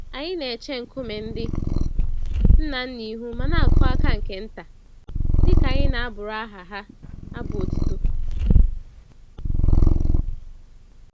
Anyị n'eche nkume ndị ńnà ńnà ihu ma n'akụ àkà nke ntà, dịka anyị n'abụrụ aha ha abụ otuto.